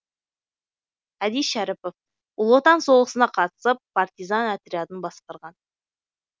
әди шәріпов ұлы отан соғысына қатысып партизан отрядын басқарған